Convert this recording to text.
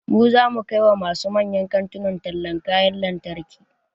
Mu zamu kai wa masu manyan kantuna tallan kayan lantarki